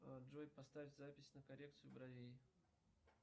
джой поставь запись на коррекцию бровей